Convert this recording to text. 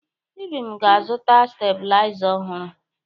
Ibim ga-azụta stebuliza ọhụrụ.